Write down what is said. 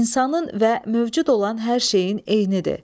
İnsanın və mövcud olan hər şeyin eynidir.